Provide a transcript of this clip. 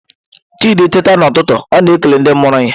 Chidị teeta n’ụtụtụ, ọ na-ekele ndị mụrụ ya.